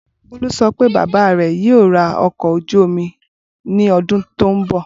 Bolu sọ pe baba rẹ yoo ra ọkọ̀ ojú omi ni ọdun to nbọ.